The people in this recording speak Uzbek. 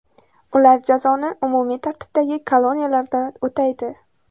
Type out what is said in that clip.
Ular jazoni umumiy tartibdagi koloniyalarda o‘taydi.